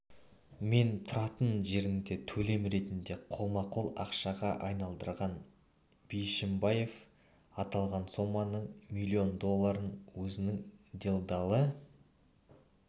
мен тұратын жеріне төлем ретінде қолма-қол ақшаға айналдырған бишімбаев аталған соманың млн долларын өзінің делдалы